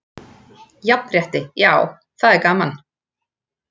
Jafnrétti já, það er gaman.